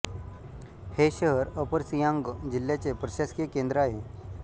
हे शहर अपर सियांग जिल्ह्याचे प्रशासकीय केंद्र आहे